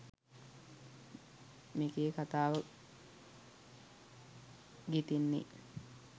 මේකේ කතාව ගෙතෙන්නේ